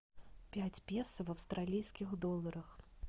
пять песо в австралийских долларах